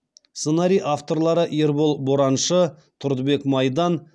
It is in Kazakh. сценарий авторлары ербол бораншы тұрдыбек майдан